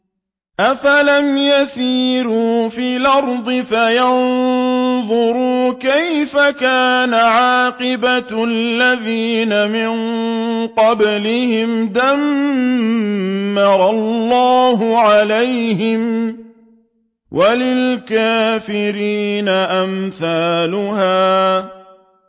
۞ أَفَلَمْ يَسِيرُوا فِي الْأَرْضِ فَيَنظُرُوا كَيْفَ كَانَ عَاقِبَةُ الَّذِينَ مِن قَبْلِهِمْ ۚ دَمَّرَ اللَّهُ عَلَيْهِمْ ۖ وَلِلْكَافِرِينَ أَمْثَالُهَا